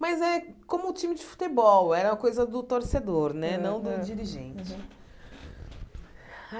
Mas é como o time de futebol, era a coisa do torcedor né, Aham aham não do dirigente.